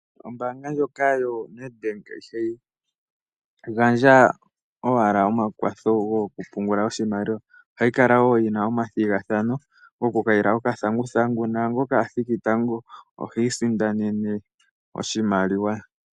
Ombaanga ndjoka yoNedbank ihayi gandja owala omakwatho goku pungula oshimaliwa, ohayi kala woo yina omathigathano goku kayila okathanguthangu, naangoka a thiki tango ihi isindanene oshimaliwa.